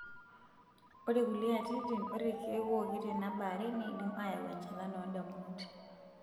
Ore kulie atitin, ore ilkeek ooki tena baare neidim aayau enchalan oondamunot.